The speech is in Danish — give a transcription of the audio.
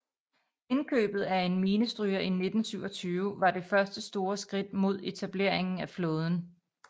Indkøbet af en minestryger i 1927 var det første store skridt mod etableringen af flåden